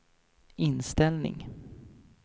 inställning